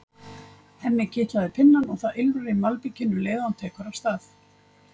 Hemmi kitlar pinnann og það ýlfrar í malbikinu um leið og hann tekur af stað.